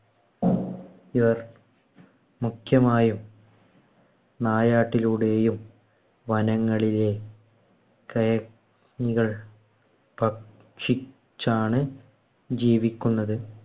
ഇവർ മുഖ്യമായും നായാട്ടിലൂടെയും വനങ്ങളിലെ കയ കള്‍ ഭക്ഷിച്ചാണ്‌ ജീവിക്കുന്നത്.